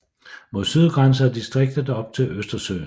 Mod syd grænser distriktet op til Østersøen